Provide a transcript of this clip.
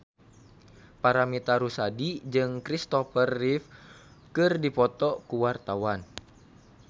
Paramitha Rusady jeung Christopher Reeve keur dipoto ku wartawan